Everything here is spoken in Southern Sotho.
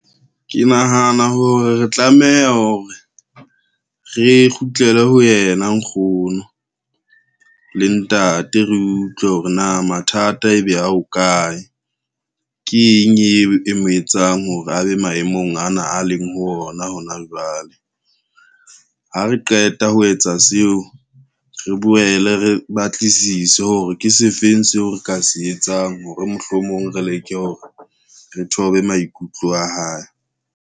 Ke nahana hore re tlameha hore, re kgutlele ho yena nkgono le ntate re utlwe hore na mathata ebe a ho kae. Keng e mo etsang hore a be maemong ana a leng ho ona hona jwale, ha re qeta ho etsa seo re boele re batlisise hore ke se feng seo re ka se etsang ho re mohlomong re leke hore re thobe maikutlo a hae.